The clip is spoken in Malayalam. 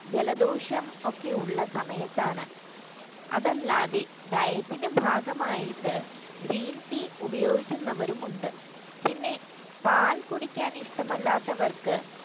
ജലദോഷം ഒക്കെയുള്ള സമയത്താണ് അതല്ലാതെ diet ഭാഗമായിട്ട് green tea ഉപയോഗിക്കുന്നവരും ഉണ്ട് പിന്നെ പാൽ കുടിക്കാൻ ഇഷ്ടമല്ലാത്തവർക്ക്